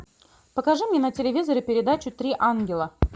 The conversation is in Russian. покажи мне на телевизоре передачу три ангела